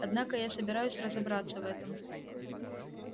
однако я собираюсь разобраться в этом